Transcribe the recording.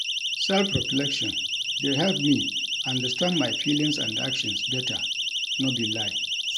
Self-reflection dey help me understand my feelings and actions better, no be lie.